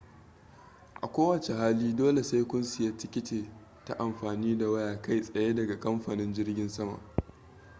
a ko wace hali dole sai ku siya tiketi ta afami da waya kai tsaye daga kamfanin jirgin saman